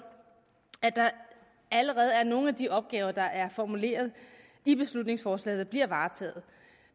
at der allerede er nogle af de opgaver der er formuleret i beslutningsforslaget som bliver varetaget